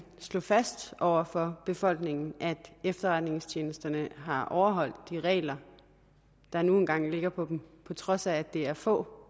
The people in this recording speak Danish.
slå fast over for befolkningen at efterretningstjenesterne har overholdt de regler der nu engang ligger for dem på trods af at det er få